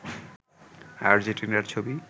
আর্জেন্টিনার ছবি